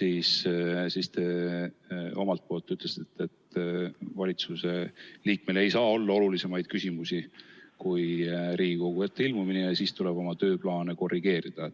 ja te ütlesite, et valitsuse liikmel ei saa olla olulisemaid asju kui Riigikogu ette ilmumine ja kui vaja, tuleb tal oma tööplaani korrigeerida.